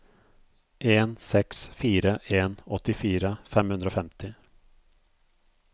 en seks fire en åttifire fem hundre og femti